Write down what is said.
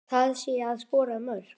Það sé að skora mörk.